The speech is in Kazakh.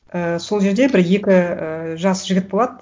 ііі сол жерде бір екі і жас жігіт болады